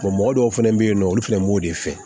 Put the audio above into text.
mɔgɔ dɔw fɛnɛ bɛ yen nɔ olu fana b'o de fɛ